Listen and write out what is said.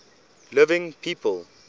living people